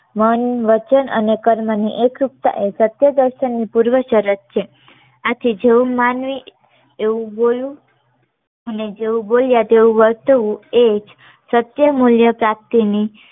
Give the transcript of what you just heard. મન વચન અને કર્મ ની એકરૂપતા સત્ય દર્શન ની પૂર્વ શરત છે આથી જેવું માનવી એવું બોલવું અને જેવું બોલ્યા તેવું વર્તવું એ જ સત્ય મુલ્ય પ્રાપ્તિ ની